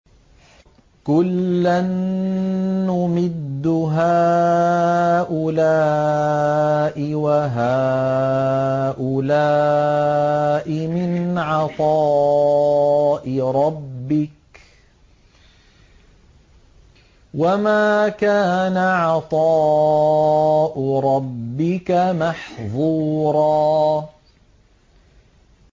كُلًّا نُّمِدُّ هَٰؤُلَاءِ وَهَٰؤُلَاءِ مِنْ عَطَاءِ رَبِّكَ ۚ وَمَا كَانَ عَطَاءُ رَبِّكَ مَحْظُورًا